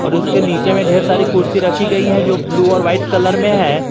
और उसके नीचे में ढेर सारी कुर्सी रखी गई हैं जो ब्लू और वाइट कलर में है।